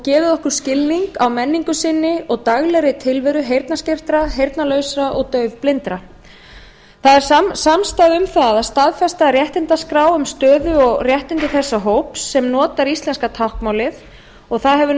gefið okkur skilning á menningu sinni og daglegri tilveru heyrnarskertra heyrnarlausra og daufblindra það er samstaða um það að staðfesta réttindaskrá um stöðu og réttindi þessa hóps sem notar íslenska táknmálið og það hefur